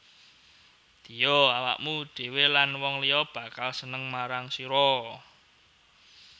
Ddiya awakmu dhwe lan wong liya bakal seneng marang sira